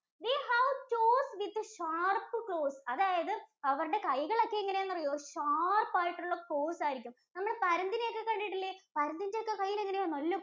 they have toes with the sharp claws അതായത് അവരുടെ കൈകളൊക്കെ എങ്ങിനെയാണറിയോ sharp ആയിട്ടുള്ള claws ആയിരിക്കും. നമ്മള്‍ പരുന്തിനെയൊക്കെ കണ്ടിട്ടില്ലേ പരുന്തിന്‍റെയൊക്കെ കൈയ്യില്‍ എങ്ങിനെയാ നല്ല